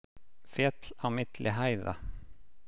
Féll á milli hæða